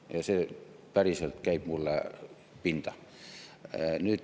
Ja see päriselt käib mulle pinda.